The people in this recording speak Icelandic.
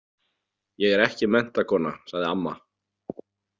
Ég er ekki menntakona, sagði amma.